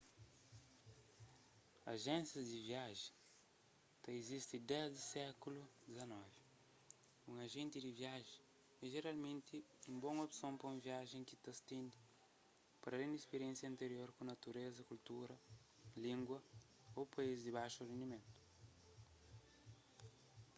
ajénsias di viajen ta izisti desdi sékulu xix un ajenti di viajen é jeralmenti un bon opson pa un viajen ki ta stende paralén di spiriénsia antirior ku natureza kultura língua ô país di baxu rendimentu